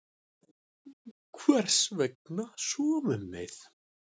Hvers vegna sofum við?